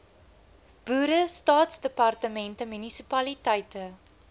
boere staatsdepartemente munisipaliteite